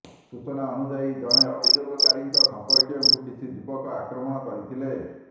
ସୂଚନା ଅନୁଯାୟୀ ଜଣେ ଅଭିଯୋଗକାରୀଙ୍କ ସମ୍ପର୍କୀୟଙ୍କୁ କିଛିଯୁବକ ଆକ୍ରମଣ କରିଥିଲେ